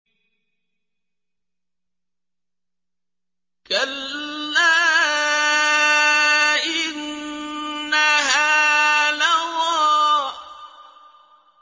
كَلَّا ۖ إِنَّهَا لَظَىٰ